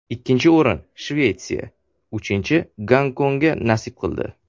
Ikkinchi o‘rin Shvetsiya, uchinchi Gonkongga nasib qildi.